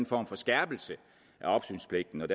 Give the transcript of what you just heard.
form for skærpelse